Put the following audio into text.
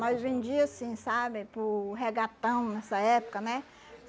Nós vendia assim, sabe, para o regatão nessa época, né?